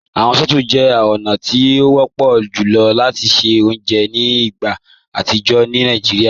Awọn stòóvù jẹ ọ̀na ti o wọ̀pọ̀ jùlọ̀ lati ṣẹ ọ̀unjẹ́ ni igbá atijọ ni Naijíríà.